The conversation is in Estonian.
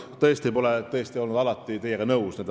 Tõsi, alati ei olnud ma küll teiega nõus.